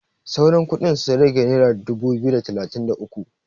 sauran kudin sun rage naira dubu biyu da talatin da uku